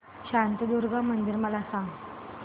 शांतादुर्गा मंदिर मला सांग